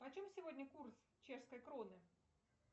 почем сегодня курс чешской кроны